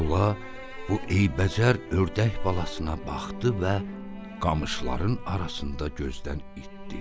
Tula bu eybəcər ördək balasına baxdı və qamışların arasında gözdən itdi.